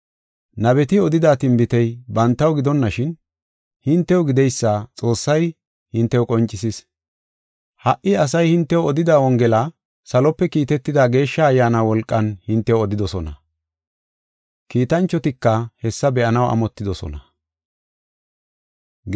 Nabeti odida tinbitey bantaw gidonashin, hintew gideysa Xoossay hintew qoncisis. Ha77i asay hintew odida Wongela salope kiitetida Geeshsha Ayyaana wolqan hintew odidosona. Kiitanchotika hessa be7anaw amotidosona.